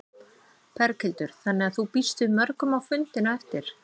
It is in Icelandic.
Berghildur: Þannig að þú býst við mörgum á fundinn á eftir?